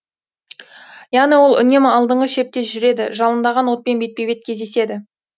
яғни ол үнемі алдыңғы шепте жүреді жалындаған отпен бетпе бет кездеседі